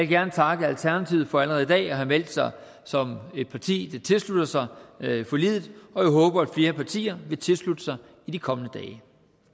gerne takke alternativet for allerede i dag at have meldt sig som et parti der tilslutter sig forliget og jeg håber at flere partier vil tilslutte sig i de kommende dage